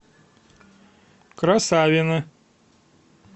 красавино